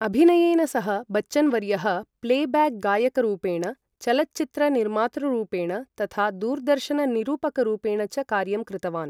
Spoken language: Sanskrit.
अभिनयेन सह, बच्चन् वर्यः प्लेब्याक् गायकरुपेण, चलच्चित्र निर्मातृरूपेण, तथा दूरदर्शन निरूपकरुपेण च कार्यं कृतवान्।